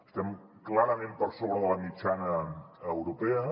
estem clarament per sobre de la mitjana europea